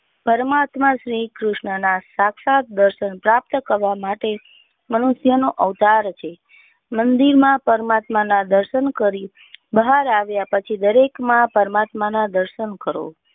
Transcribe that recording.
પરમાત્મા શ્રી કૃષ્ણના સાક્ષાત દર્શન પ્રાપ્ત કરવા માટે મનુષ્ય નો અવતાર છે. મંદિરમાં પરમાત્મા ના દર્શન કરી બહાર આવ્યા પછી દરેક માં પરમાત્મા ના દર્શન કરો.